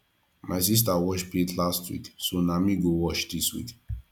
my sista wash plate last week so na me go wash dis week